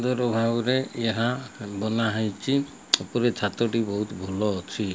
ବାହୁରେ ଏହା ବନାହେଇଛି ଉପରେ ଛାତ ଟି ବହୁତ୍ ଭଲ ଅଛି।